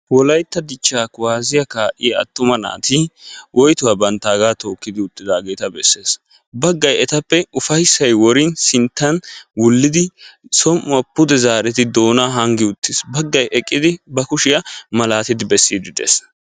wolaytta dichchaa kuwassiyaa kaa"iyaa atuma naati woytuwa bantaagaa tookkidi uttidaageta besses. baggay etappe ufayssay worin sinttan wullidi som"uwa pude zaaridi doonaa haanggi uttis. Baggay eqidi ba kushiyaa malatidi bessiiddi de"es.